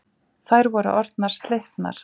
Þær voru orðnar slitnar.